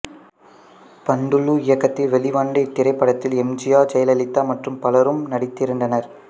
பந்துலு இயக்கத்தில் வெளிவந்த இத்திரைப்படத்தில் எம் ஜி ஆர் ஜெயலலிதா மற்றும் பலரும் நடித்திருந்தனர்